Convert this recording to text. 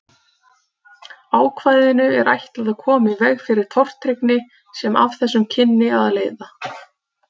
Ákvæðinu er ætlað að koma í veg fyrir tortryggni sem af þessu kynni að leiða.